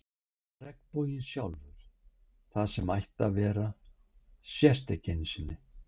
Regnboginn sjálfur, það sem ætti að vera, sést ekki einu sinni.